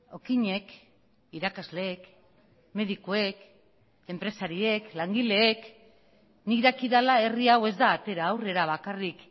okinek irakasleek medikuek enpresariek langileek nik dakidala herri hau ez da atera aurrera bakarrik